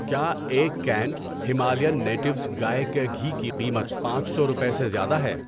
کیا ایک can Himalayan Natives گائے کا گھی کی قیمت پانچ روپے سے زیادہ ہے؟